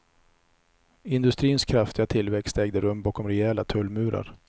Industrins kraftiga tillväxt ägde rum bakom rejäla tullmurar.